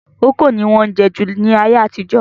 Kókò ni wọ́n jẹ́ jù ní ayé àtijọ́